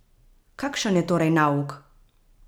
Kakšen je torej nauk?